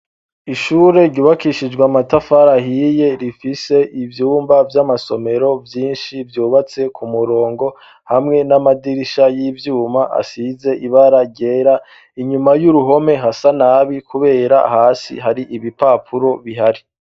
Ishure ryubakishijwa matafara hiye rifise ibyumba by'amasomero vyinshi byubatse ku murongo hamwe n'amadirisha y'ivyuma asize ibara ryera inyuma y'uruhome hasa nabi kubera hasi hari ibipapuro bihari.